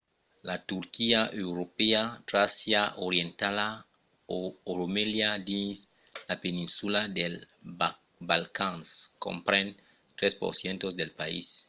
la turquia europèa tràcia orientala o romelia dins la peninsula dels balcans compren 3% del país